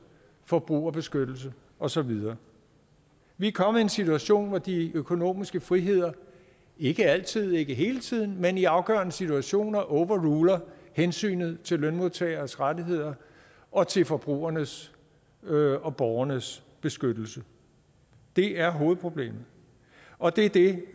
forbrugerbeskyttelse og så videre vi er kommet i en situation hvor de økonomiske friheder ikke altid og ikke hele tiden men i afgørende situationer overruler hensynet til lønmodtagernes rettigheder og til forbrugernes og og borgernes beskyttelse det er hovedproblemet og det er det